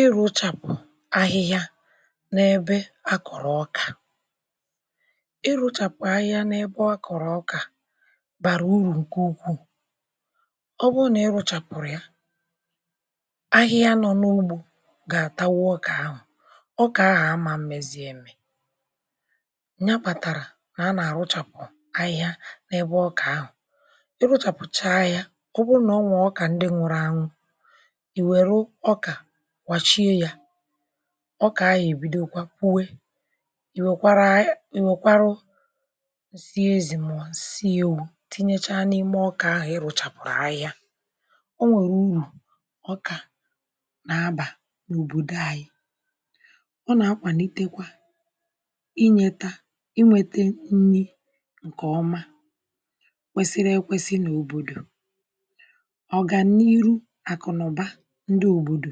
Ịrùchapụ̀ ahịhịà n’ebe a kọrọ̀ ọkà ịrụ̀chapụ̀ ahịhịà n’ebe a kọrò ọkà barà urù nkè ukwuu ọ bụrụ̀ nà ị rụchàpụrụ̀ yà ahịhịà nọ̀ n’ugbò ga-atàgbù ọkà ahụ̀ ọkà ahụ̀ amà mmezie nyà kpatàrà a na-arụ̀chapụ̀ ahịhịà n’ebe ọkà ahụ̀ ị rụchàpụchà yà ọ bụrụ̀ nà o nwè ọkà ndị̀ nwụrụ̀ anwụ̀ i werụ̀ ọkà kwachiè yà ọkà ahụ̀ ebìdokwà puwè i wekwarà, I wekwarụ̀ teezmonsil tinyechà n’imè ọkà ahụ̀ ịrụ̀chapụ̀rụ̀ ahịhịà o nwerè urù ọkà na-abà n’òbodò anyị̀ ọ na-akwànitekwà inyetà inwetà nrì nkè ọmà kwesirì ekwesì n’òbodò ọgànirù akụ̀ nà ụbà ndị̀ òbodò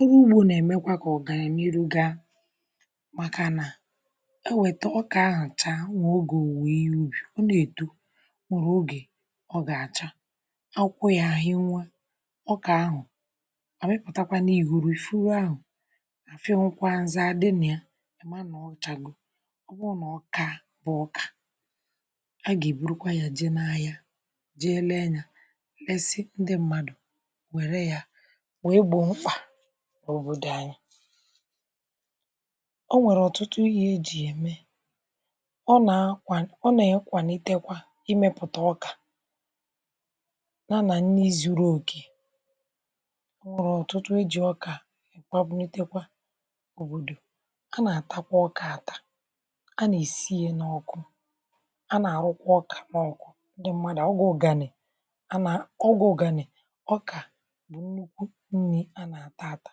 ọrụ̀ ugbò na-emèkwà kà ọgànirù gaa màkà nà e wetà ọkà ahụ̀ taa n’ogè owuwò ihe ubì, ọ na-etò o nwerè ogè ọ gà-achà akwụkwọ̀ yà ahịnwè ọkà ahụ̀ a weputakwà iburù furù ahụ̀ fịọ̀kwà nzà adị̀ nà yà chagò ọ bụrụ̀ nà ọka bụ̀ ọkà a ga-eburùkwà yà jee n’ahịà jee lee yà nsị̀ ndị̀ mmadụ̀ werè yà wee gboo m̄kpà n’òbodò anyị̀ o nwere ọtụtụ ihe e jì yà emè ọ na-akwà ọ na-akwanitekwà imepùtà ọkà yà nà nnì zurù okè e nwere ọtụtụ e jì ọkà mà bunìtekwà òbodò a na-atàkwà ọkà atà a na-esì yà n’ọkụ̀ a na-arụ̀kwà ọkà n’ọkụ̀ ndị̀ mmadụ̀ abụghị̀ ọganị̀ a nà, ọgwụ̀ ọgànị̀ ọkà nnukwù nnì a na-atà atà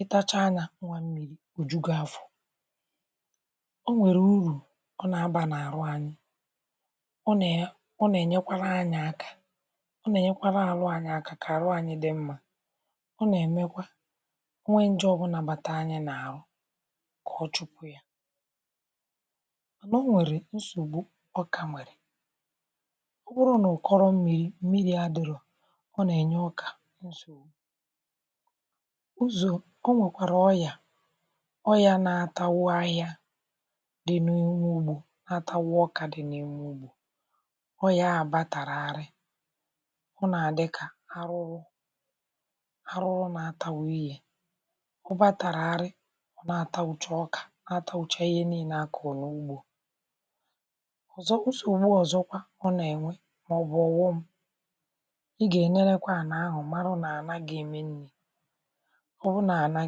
ị tachà nyà n̄ụọ̀ mmiri o jù gì afọ̀ o nwerè urù ọ na-abà n’arụ̀ anyị̀ ọ nà ọ na-enyèkwarà anyị̀ aka ọ na-enyèkwarà arụ̀ anyị̀ aka, kà arụ̀ anyị̀ wee dị̀ mmà ọ na-emèkwà o nwè njè ọ bụnà batà anyị̀ n’ahụ̀ kà ọ chụpụ̀ yà o nwerè nsogbù ọkà nwerè ọ bụrụ̀ n’ụkọ̀rọ̀ mmiri, mmiri adịrọ̀ ọ na-enyè ọkà ụzọ̀ o nwèkwarà ọyà ọyà na-atagbù ahịà dị̀ nà n’ụlọ̀ atagbù ọkà dị̀ n’imè ọyà batàràtrì ọ na-adị̀kà arụrụ̀ arụrụ̀ na-atagbù ihe ọ batàràtrì na-atagbùchà ọkà atagbùchà ihe niine ̀ a kọrọ̀ nugbò ọzọ̀ bụ̀ nsogbù ọzọ̀kwà ọ na-enwè ọ bụ̀ ọghọm ị ga-enyerekwà ànà ahụ̀ màrà nà ànà ga-emenwụ̀ ọ bụrù nà ànà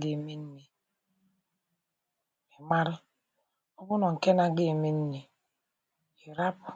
ga-emenwụ̀ gbarụ̀ ọ bụ̀ nọọ̀ nkè na-agaghị̀ emènwụ̀ yà rapụ̀